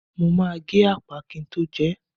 Mo ma gé ápà kin tó jẹẹ́.